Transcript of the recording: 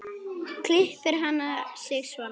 Klippir hann sig svona.